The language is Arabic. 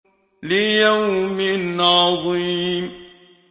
لِيَوْمٍ عَظِيمٍ